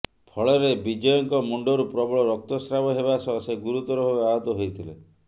ଫଳରେ ବିଜୟଙ୍କ ମୁଣ୍ତରୁ ପ୍ରବଳ ରକ୍ତସ୍ରାବ ହେବା ସହ ସେ ଗୁରୁତର ଭାବେ ଆହତ ହୋଇଥିଲେ